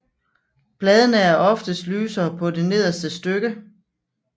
Bladene er oftest lysere på det nederste stykke